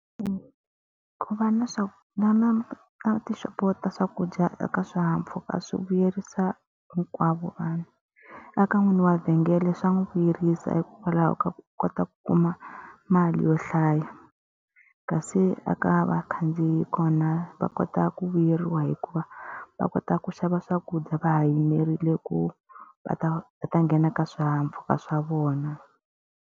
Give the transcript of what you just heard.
ku va na na na tixopo ta swakudya eka swihahampfhuka swi vuyerisa hinkwavo vanhu. Eka n'winyi wa vhengele swa n'wi vuyerisa hikwalaho ka ku kota ku kuma mali yo hlaya. Kasi eka vakhandziyi kona va kota ku vuyeriwa hikuva va kota ku xava swakudya va ha yimerile ku va ta va ta nghena ka swihahampfhuka swa vona.